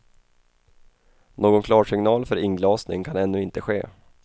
Någon klarsignal för inglasning kan ännu inte ske.